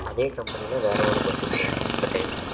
அதே company ல வேற ஒரு bus bro இந்த time